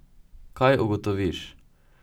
Kaj ugotoviš?